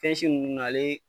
Fɛn si ninnu na ale